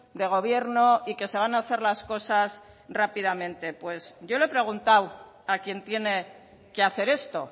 de gobierno y que se van a hacer las cosas rápidamente pues yo le he preguntado a quien tiene que hacer esto